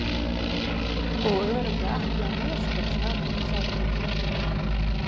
Og örugglega ekki á Neskaupstað, sagði hún.